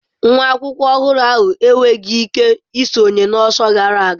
Nwa akwụkwọ ọhụrụ ahụ enweghị ike isonye na ọsọ gara aga.